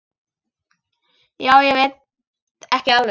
Já, ég veit ekki alveg.